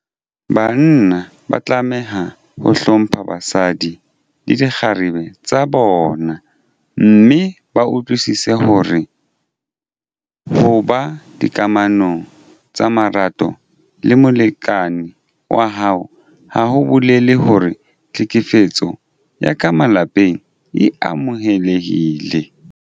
Banna ba tlameha ho hlompha basadi le dikgarebe tsa bona mme ba utlwisise hore ho ba dikamanong tsa marato le molekane wa hao ha ho bolele hore tlhekefetso ya ka malapeng e amohelehile.